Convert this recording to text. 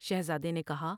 شہزادے نے کہا ۔